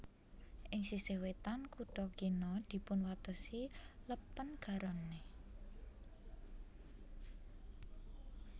Ing sisih wétan kutha kina dipunwatesi Lèpèn Garonne